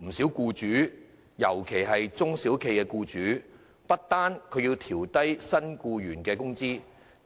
不少僱主，尤其是中小型企業的僱主，不單要調整低薪僱員的工資